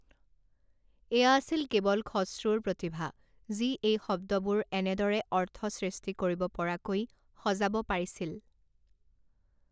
এয়া আছিল কেৱল খশ্ৰুৰ প্ৰতিভা যি এই শব্দবোৰ এনেদৰে অৰ্থ সৃষ্টি কৰিব পৰাকৈ সজাব পাৰিছিল।